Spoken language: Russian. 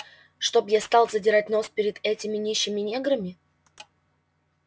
чтоб я стал задирать нос перед этими нищими неграми